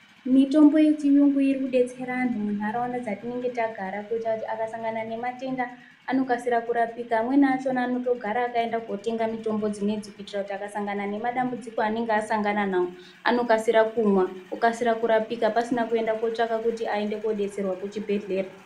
Mitombo yechiyungu irikudetsera vantu muntaraunda dzatinenge tagara kuitire kuti akasangana nematenda anokasike kurapika, amweni acho anotogara akaenda kotenga mitombo dzinedzi kuitira kuti akasangana nemadambudziko eanenge asangana nawo anokasira kumwa okasira kurapika pasina kuenda kotsvaka kuti aende kodetserwa kuchibhedhlera.